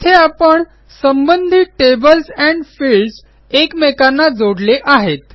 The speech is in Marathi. येथे आपण संबंधित टेबल्स एंड फील्ड्स एकमेकांना जोडले आहेत